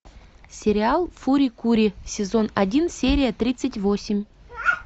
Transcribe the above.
сериал фури кури сезон один серия тридцать восемь